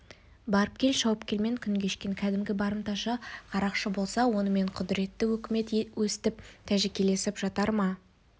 барып кел шауып келмен күн кешкен кәдімгі барымташы қарақшы болса онымен құдіретті өкімет өстіп тәжікелесіп жатар ма